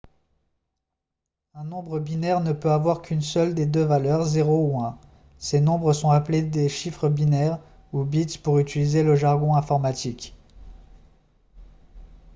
un nombre binaire ne peut avoir qu'une seule de deux valeurs 0 ou 1 ces nombres sont appelés des chiffres binaires ou bits pour utiliser le jargon informatique